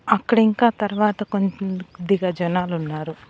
అక్కడ ఇంకా తర్వాత కొన్ని కొద్దిగా జనాలు ఉన్నారు.